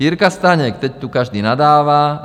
Jirka Staněk: Teď tu každý nadává.